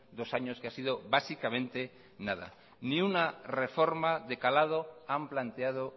dos años que ha sido básicamente nada ni una reforma de calado han planteado